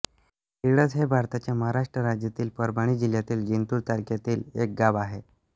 रिडज हे भारताच्या महाराष्ट्र राज्यातील परभणी जिल्ह्यातील जिंतूर तालुक्यातील एक गाव आहे